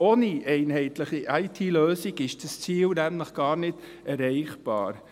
Ohne einheitliche IT-Lösung ist das Ziel nämlich gar nicht erreichbar.